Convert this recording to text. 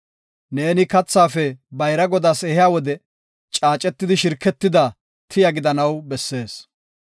Neeni kathaafe bayra Godaas ehiya wode caacetidi shirketida tiya gidanaw bessees.